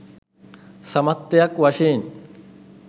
සමස්තයක් වශයෙන්